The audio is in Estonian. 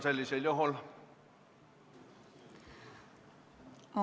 Sellisel juhul palun, Kadri Simson!